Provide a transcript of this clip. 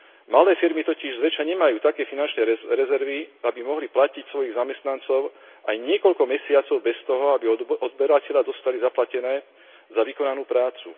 Malé firmy totiž zväčša nemajú také finančné rezervy, aby mohli platiť svojich zamestnancov aj niekoľko mesiacov bez toho, aby od odberateľa dostali zaplatené za vykonanú prácu.